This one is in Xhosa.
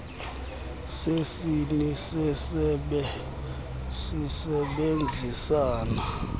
sesini sesebe sisebenzisana